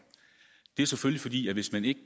det skyldes selvfølgelig at hvis man ikke